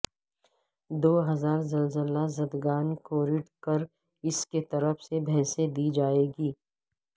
دو ہزار زلزلہ زدگان کوریڈ کراس کیطرف سے بھینسیں دی جائیں گی